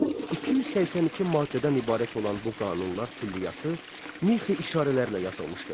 282 maddədən ibarət olan bu qanunlar külliyyatı mixi işarələrlə yazılmışdır.